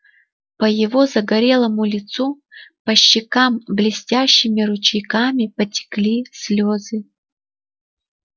по его загорелому лицу по щекам блестящими ручейками потекли слезы